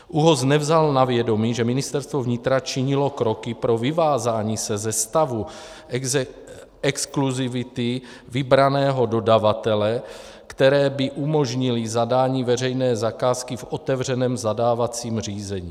ÚOHS nevzal na vědomí, že Ministerstvo vnitra činilo kroky pro vyvázání se ze stavu exkluzivity vybraného dodavatele, které by umožnily zadání veřejné zakázky v otevřeném zadávacím řízení.